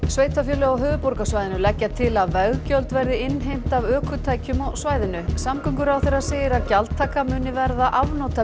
sveitarfélög á höfuðborgarsvæðinu leggja til að veggjöld verði innheimt af ökutækjum á svæðinu samgönguráðherra segir að gjaldtakan muni verða